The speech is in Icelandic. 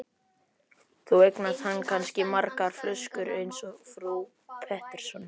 Þá eignast hann kannski margar flöskur eins og frú Pettersson.